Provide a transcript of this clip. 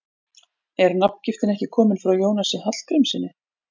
Er nafngiftin ekki komin frá Jónasi Hallgrímssyni?